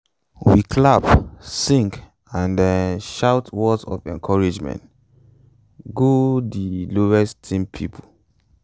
we clap sing and um shout words for encouragement um go um go di slowest team pipo.